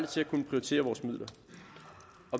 til at kunne prioritere vores midler